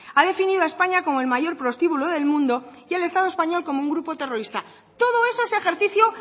ha definido a españa como el mayor prostíbulo del mundo y al estado español como un grupo terrorista todo eso es ejercicio